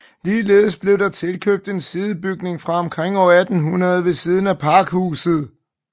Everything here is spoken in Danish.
Ligeledes blev der tilkøbt en sidebygning fra omkring år 1800 ved siden af pakhuset